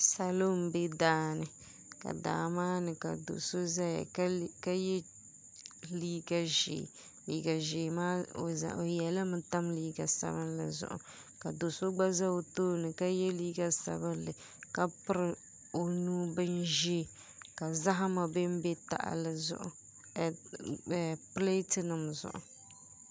salo m-be daa ni ka daa maa ni ka do'so zeya ka ye liiga ʒee liiga ʒee maa o ye li mi tam liiga sabinlli zuɣu ka do'so gba ze o tooni ka ye liiga sabinlli ka piri o nuu bin ʒee ka zahama be m-be pileetinima zuɣu